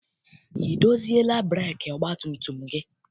I doziela breekị ọgbatumtum gị?